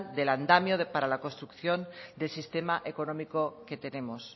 del andamio para la construcción del sistema económico que tenemos